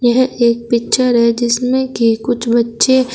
यह एक पिक्चर है जिसमें की कुछ बच्चे--